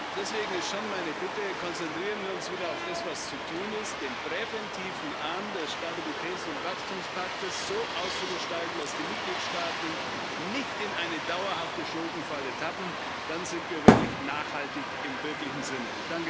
Deswegen ist schon meine Bitte Konzentrieren wir uns wieder auf das, was zu tun ist den präventiven Arm des Stabilitäts und Wachstumspaktes so auszugestalten, dass die Mitgliedsstaaten nicht in eine dauerhafte Schuldenfalle tappen, dann sind wir nachhaltig im wirklichen Sinne.